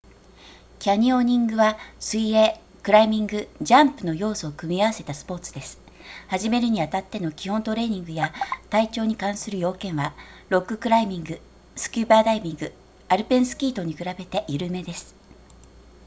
キャニオニングは水泳クライミングジャンプの要素を組み合わせたスポーツです始めるにあたっての基本トレーニングや体調に関する要件はロッククライミングスキューバダイビングアルペンスキー等に比べて緩めです